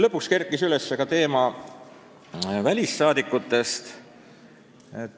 Lõpuks kerkis üles ka välisriikides elavate kodanike teema.